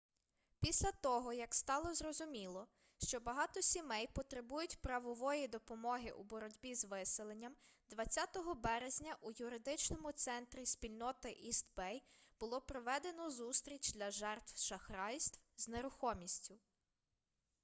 після того як стало зрозуміло що багато сімей потребують правової допомоги у боротьбі з виселенням 20 березня у юридичному центрі спільноти іст бей було проведено зустріч для жертв шахрайств з нерухомістю